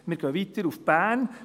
Wir gehen weiter nach Bern: